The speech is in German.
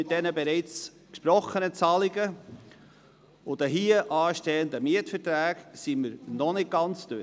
Mit den bereits gesprochenen Zahlungen und den hier anstehenden Mietverträgen sind wir noch nicht ganz durch.